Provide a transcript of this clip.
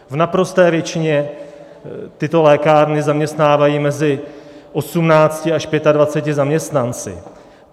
V naprosté většině tyto lékárny zaměstnávají mezi 18 až 25 zaměstnanci.